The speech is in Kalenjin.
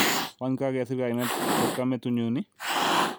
Wany kakesir kainet chepkamatunyun i?